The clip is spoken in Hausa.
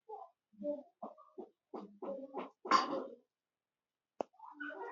E, kayan gona ce.